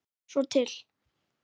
Svo til?